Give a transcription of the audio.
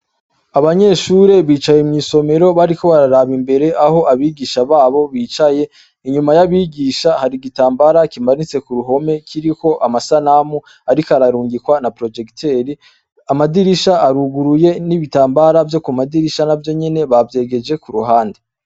Abanyeshure bicaye mw'isomero bariko bararaba imbere aho abigisha babo bicaye inyuma y'abigisha hari igitambara kimanitse ku ruhome kiriho amasanamu, ariko ararungikwa na projekiteri amadirisha aruguruye n'ibitambara vyo ku madirisha na vyo nyene bavyegeje ku ruhande.